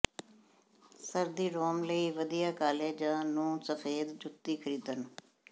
ਸਰਦੀ ਰੋਮ ਲਈ ਵਧੀਆ ਕਾਲੇ ਜ ਨੂੰ ਸਫੈਦ ਜੁੱਤੀ ਖਰੀਦਣ